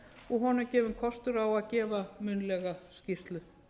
og honum gefinn kostur á að gefa munnlega skýrslu